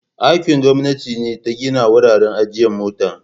Aikin gwamnati ne ta gina wuraren ajiye motoci.